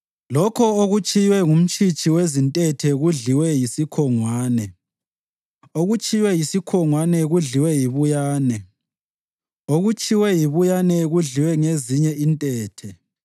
Lokho okutshiywe ngumtshitshi wezintethe kudliwe yisikhongwane; okutshiywe yisikhongwane kudliwe yibuyane; okutshiywe yibuyane kudliwe ngezinye intethe.